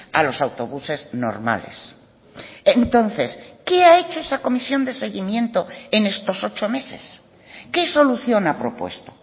a los autobuses normales entonces qué ha hecho esa comisión de seguimiento en estos ocho meses qué solución ha propuesto